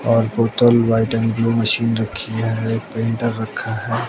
और बोतल white and blue machine रखी है एक प्रिंटर रखा है।